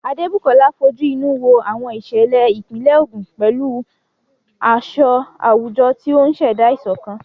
Adebukola fojú inú wo àwọn ìṣẹ̀lẹ̀ ìpínlẹ̀ Ogun pẹ̀lú aṣọ àwùjọ, tí ó ń ṣẹ̀dá ìṣọ̀kan